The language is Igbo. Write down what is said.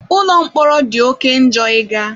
Ụlọ mkpọrọ dị oke njọ ịga.